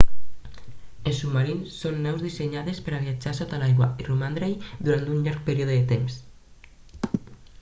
els submarins són naus dissenyades per a viatjar sota l'aigua i romandre-hi durant un llarg període de temps